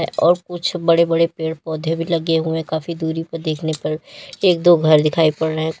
और कुछ बड़े बड़े पेड़ पौधे भी लगे हुए काफी दूरी पर देखने पर एक दो घर दिखाई पड़ रहे--